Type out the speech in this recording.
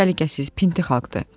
Səliqəsiz pinti xalqdır.